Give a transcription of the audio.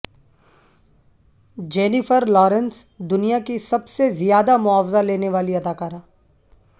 Jennifer Lawrence دنیا کی سب سے زیادہ معاوضہ لینے والی اداکارہ